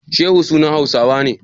Shehu sunan Hausawa ne?